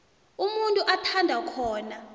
umuntu athanda khona